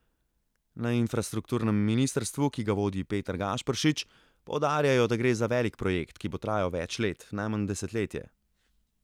Na infrastrukturnem ministrstvu, ki ga vodi Peter Gašperšič, poudarjajo, da gre za velik projekt, ki bo trajal več let, najmanj desetletje.